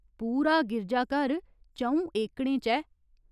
पूरा गिरजाघर च'ऊं एकड़ें च ऐ।